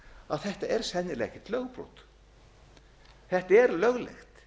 að þetta er sennilega ekkert lögbrot þetta er löglegt